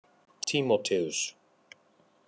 Tímóteus